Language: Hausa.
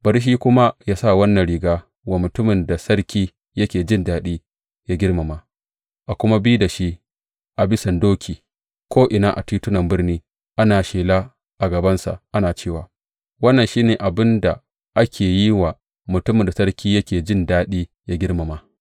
Bari shi kuma yă sa wannan riga wa mutumin da sarki yake jin daɗi yă girmama, a kuma bi da shi a bisan doki ko’ina a titunan birni, ana shela a gabansa ana cewa, Wannan shi ne abin da ake yin wa mutumin da sarki yake jin daɗi yă girmama!’